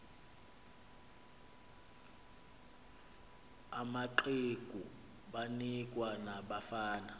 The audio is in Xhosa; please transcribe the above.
amaqegu banikwa nabafana